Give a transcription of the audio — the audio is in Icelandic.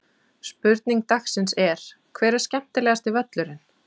Spurning dagsins er: Hver er skemmtilegasti völlurinn?